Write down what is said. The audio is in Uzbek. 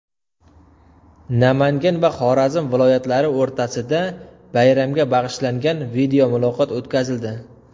Namangan va Xorazm viloyatlari o‘rtasida bayramga bag‘ishlangan videomuloqot o‘tkazildi .